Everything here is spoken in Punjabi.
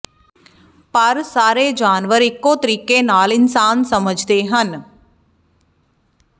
ਪਰ ਸਾਰੇ ਜਾਨਵਰ ਇੱਕੋ ਤਰੀਕੇ ਨਾਲ ਇਨਸਾਨ ਸਮਝਦੇ ਹਨ